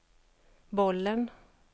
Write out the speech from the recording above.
bollen